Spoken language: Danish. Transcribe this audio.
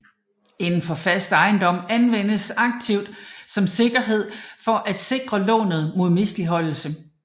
Inden for fast ejendom anvendes aktivet som sikkerhed for at sikre lånet mod misligholdelse